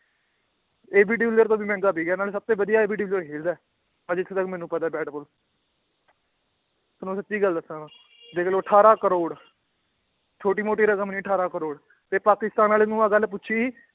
ਤੋਂ ਵੀ ਮਹਿੰਗਾ ਵਿੱਕਿਆ ਨਾਲੇ ਸਭ ਤੋਂ ਵਧੀਆ ਖੇਲਦਾ ਹੈ ਆਹ ਜਿੱਥੇ ਤੱਕ ਮੈਨੂੂੰ ਪਤਾ ਹੈ ਬੈਟਬਾਲ ਤੁਹਾਨੂੰ ਸੱਚੀ ਗੱਲ ਦੱਸਾਂ ਮੈਂ ਦੇਖ ਲਓ ਅਠਾਰਾਂ ਕਰੌੜ ਛੋਟੀ ਮੋਟੀ ਰਕਮ ਨੀ ਅਠਾਰਾਂ ਕਰੌੜ ਤੇ ਪਾਕਿਸਤਾਨ ਵਾਲੇ ਨੂੰ ਆਹ ਗੱਲ ਪੁੱਛੀ